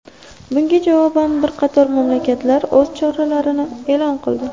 Bunga javoban bir qator mamlakatlar o‘z choralarini e’lon qildi.